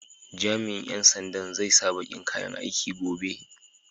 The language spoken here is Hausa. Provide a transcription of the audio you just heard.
Jami'in ƴan sandan zai sa baƙin kayan aiki gobe.